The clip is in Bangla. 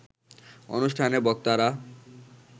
অনুষ্ঠানে বক্তারা